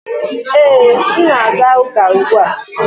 Ee, m na-aga ụka ugbu a